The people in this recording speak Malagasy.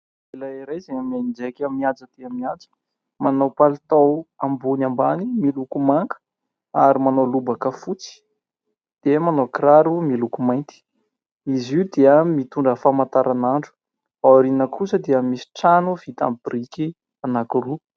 Lehilahy iray izay mianjaika mihaja dia mihaja, manao palitao ambony ambany miloko manga ary manao lobaka fotsy dia manao kiraro miloko mainty. Izy io dia mitondra famantaranandro. Ao aoriana kosa dia misy trano vita amin'ny biriky anankiroa.